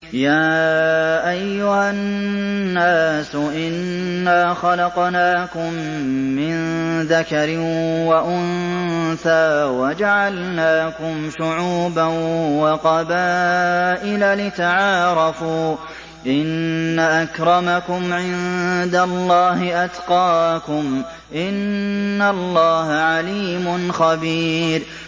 يَا أَيُّهَا النَّاسُ إِنَّا خَلَقْنَاكُم مِّن ذَكَرٍ وَأُنثَىٰ وَجَعَلْنَاكُمْ شُعُوبًا وَقَبَائِلَ لِتَعَارَفُوا ۚ إِنَّ أَكْرَمَكُمْ عِندَ اللَّهِ أَتْقَاكُمْ ۚ إِنَّ اللَّهَ عَلِيمٌ خَبِيرٌ